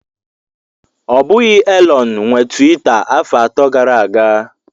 Ọ bụghị Elon nwe Tiwita afọ atọ gara aga.